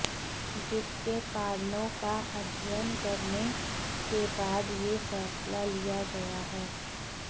जिसके कारणों का अध्ययन करने के बाद यह फैसला लिया गया है